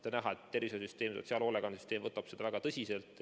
On näha, et tervishoiusüsteem ja sotsiaalhoolekandesüsteem võtab seda väga tõsiselt.